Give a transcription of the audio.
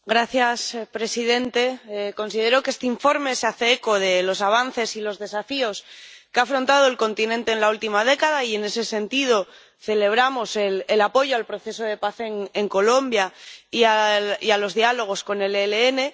Señor presidente, considero que este informe se hace eco de los avances y los desafíos que ha afrontado el continente en la última década, y en ese sentido celebramos el apoyo al proceso de paz en Colombia y a los diálogos con el ELN.